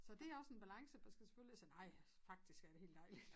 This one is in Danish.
Så det også en balance man skal selvfølgelig ikke sige nej faktisk er det helt dejligt